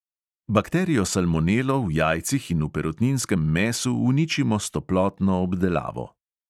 Bakterijo salmonelo v jajcih in v perutninskem mesu uničimo s toplotno obdelavo.